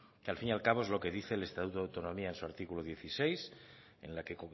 que al fin y al cabo es lo que dice el estatuto de autonomía en su artículo dieciséis en la que